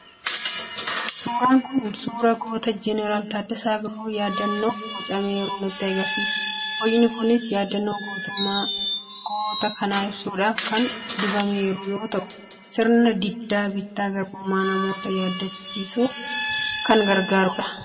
Suurri kun suura Goota Jeneraal Taaddasaa birruu yaadannoof bocameeru nutti agarsiisa. Bocni kunis yaadannoo gootummaa goota kanaa ibsuudhaaf kan dhaabameeru yoo ta'u, sirna diddaa bittaa garbummaa namoota yaadachiisuuf kan gargaarudha.